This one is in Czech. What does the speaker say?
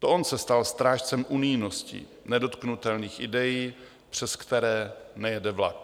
To on se stal strážcem unijnosti, nedotknutelných idejí, přes které nejede vlak.